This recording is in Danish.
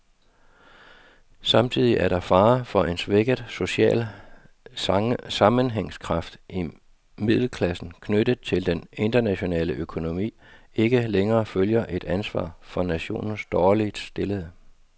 Samtidig er der fare for en svækket social sammenhængskraft, at middelklassen, knyttet til den internationale økonomi, ikke længere føler et ansvar for nationens dårligt stillede.